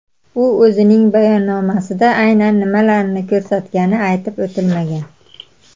U o‘zining bayonnomasida aynan nimalarni ko‘rsatgani aytib o‘tilmagan.